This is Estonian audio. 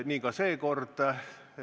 Nii ka seekord.